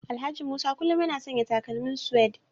Alhaji Musa kullum yana sanya takalmin suede